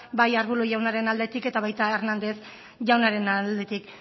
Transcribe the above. bai arbulo jaunaren aldetik eta baita hernández jaunaren aldetik